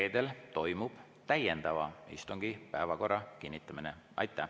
Reedel toimub täiendava istungi päevakorra kinnitamine.